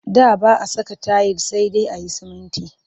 Da ba a saka tayil sai dai a yi sumunti